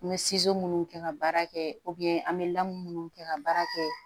N bɛ minnu kɛ ka baara kɛ an bɛ lamu minnu kɛ ka baara kɛ